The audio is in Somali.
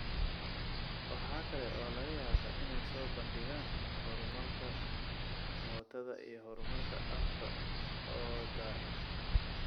Waxa kale oo laga yaabaa inay soo bandhigaan horumarka mootada iyo horumarka afka oo daahay.